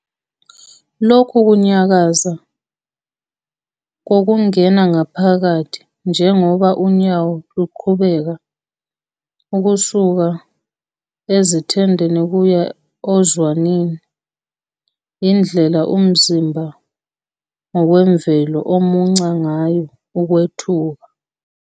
Lokhu kunyakaza kokungena ngaphakathi njengoba unyawo luqhubeka ukusuka esithendeni kuye ozwaneni yindlela umzimba ngokwemvelo omunca ngayo ukwethuka.